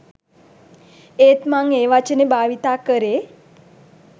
ඒත් මං ඒ වචනේ භාවිතා කරේ